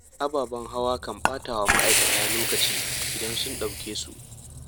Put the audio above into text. Ababen hawa kan ɓatawa ma'aikata lokaci idan sun ɗauke su.